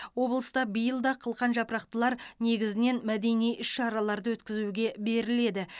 облыста биыл да қылқан жапырақтылар негізінен мәдени іс шараларды өткізуге беріледі